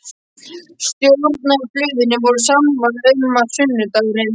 Stjórnarblöðin voru sammála um, að sunnudagurinn